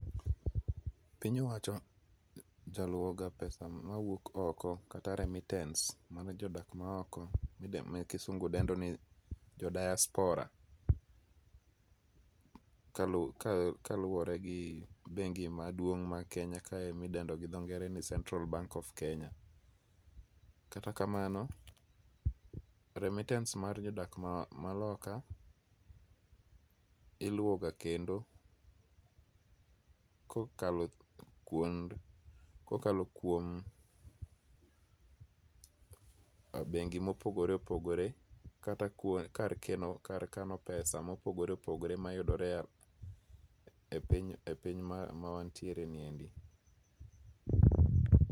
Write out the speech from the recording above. Piny owacho jaluoga pesa ma wuok oko kata remittance mano jodak mahoko ma kisungu dendo ni jo diaspora, kaluore gi bengi maduong' ma Kenya kae midendo ni go dho ng'ere ni central bank of Kenya. Kata kamano remittance mar jodak maloka iluoga kendo kokalo kuond, kokalo kuom bengi' mopogore opogore kata kar keno kar kano pesa mopogore opogore mayudore e piny mar e piny mawantiereniendi